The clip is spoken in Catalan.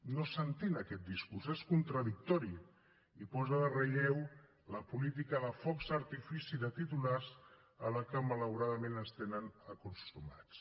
no s’entén aquest discurs és contradictori i posa en relleu la política de focs d’artifici de titulars a què malauradament ens tenen acostumats